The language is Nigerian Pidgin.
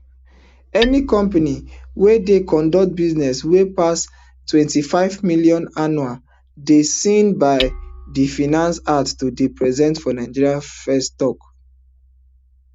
any company wey dey conduct business wey pass ntwenty-five million annually dey seen by di finance act to dey present for nigeria firs tok